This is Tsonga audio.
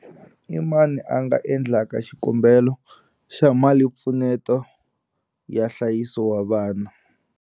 I mani a nga endlaka xikombelo xa malimpfuneto ya nhlayiso wa vana?